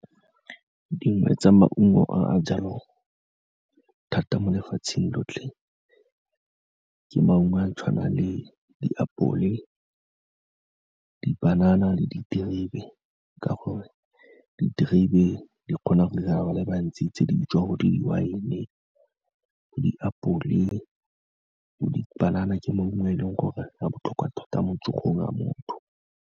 Dingwe tsa maungo a a jalwang thata mo lefatsheng lotlhe ke maungo a tshwana le diapole, dibanana le diterebe, ka gore diterebe di kgona go 'irela ba le bantsi tse tse dijo, bo di-wine-e, diapole, dipanana ke maungo a e leng gore a botlhokwa tota mo tsogong ya motho.